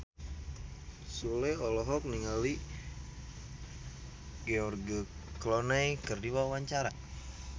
Sule olohok ningali George Clooney keur diwawancara